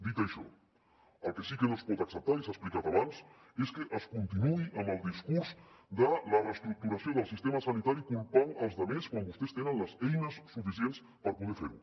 dit això el que sí que no es pot acceptar i s’ha explicat abans és que es continuï amb el discurs de la reestructuració del sistema sanitari culpant els demés quan vostès tenen les eines suficients per poder fer ho